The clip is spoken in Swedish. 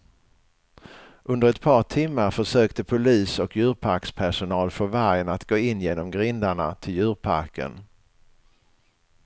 Under ett par timmar försökte polis och djurparkspersonal få vargen att gå in genom grindarna till djurparken.